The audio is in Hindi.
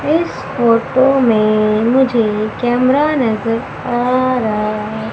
इस फोटो में मुझे कैमरा नजर आ रहा है।